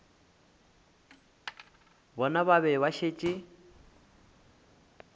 bona ba be ba šetše